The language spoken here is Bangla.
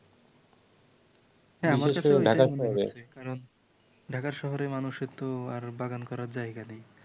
হ্যাঁ আমার কাছেও এটা মনে হচ্ছে । কারণ ঢাকা শহরে মানুষের তো আর বাগান করার জায়গা নেই ।